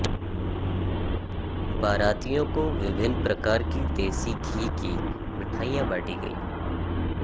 बारातियों को विभिन्न प्रकार की देशी घी की मिठाइयां बांटीं गईं